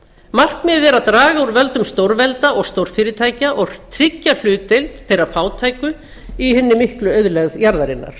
er að draga úr völdum stórvelda og stórfyrirtækja og tryggja hlutdeild þeirra fátæku í hinni miklu auðlegð jarðarinnar